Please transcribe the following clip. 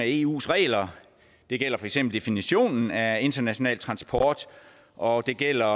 eus regler det gælder for eksempel definitionen af international transport og det gælder